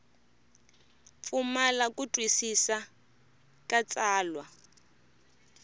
pfumala ku twisisa ka tsalwa